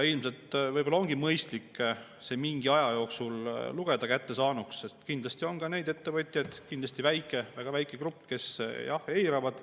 Ilmselt ongi mõistlik see mingi aja jooksul lugeda kättesaaduks, sest kindlasti on ka neid ettevõtjaid – kindlasti väga väike grupp –, kes eiravad.